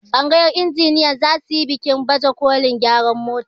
tsagayar injiniyan za su yi bikin bajekolin gyaran mota